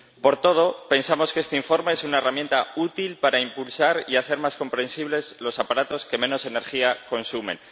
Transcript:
Por todo, pensamos que este informe es una herramienta útil para impulsar y hacer más comprensibles los aparatos que menos energía consumen.